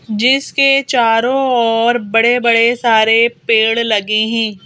जिसके चारों ओर बड़े-बड़े सारे पेड़ लगे हैं।